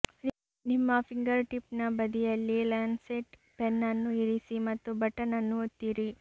ನಿಮ್ಮ ಫಿಂಗರ್ಟಿಪ್ನ ಬದಿಯಲ್ಲಿ ಲ್ಯಾನ್ಸೆಟ್ ಪೆನ್ ಅನ್ನು ಇರಿಸಿ ಮತ್ತು ಬಟನ್ ಅನ್ನು ಒತ್ತಿರಿ